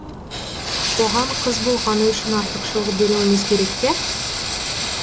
оған қыз болғаны үшін артықшылық беруіміз керек пе